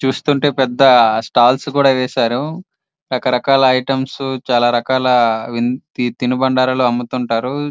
చూస్తుంటే పెద్ద స్టాల్ల్స్ కూడా వేసారు. రకరకాల ఐటమ్స్ చాల రకాల తిన్ను బండారాలు అముతు ఉంటారు.